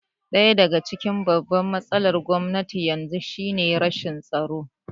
Ɗaya daga cikin babban matsalar Gwamnatin yanzu shi ne rashin tsaro